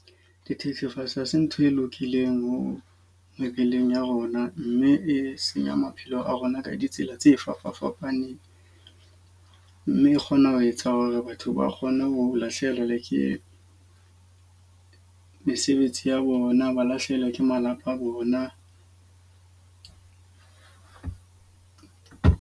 Dithethefatsi hase ntho e lokileng ho mebileng ya rona. Mme e senya maphelo a rona ka ditsela tse fapafapaneng. Mme e kgona ho etsa hore ba batho ba kgone ho lahlehelwa ke mesebetsi ya bona, ba lahlehelwa ke malapa a bona.